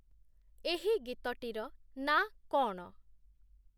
ଏହି ଗୀତଟିର ନାଁ କ'ଣ?